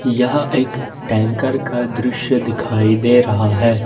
यहा एक टैंकर का दृश्य दिखाई दे रहा है।